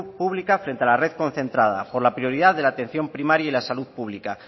pública frente a la red concentrada por la prioridad de la atención primaria y la salud pública